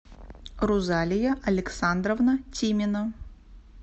рузалия александровна тимина